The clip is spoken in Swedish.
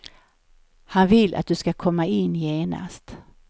Han vill att du ska komma in genast.